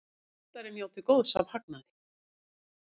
Skuldari njóti góðs af hagnaði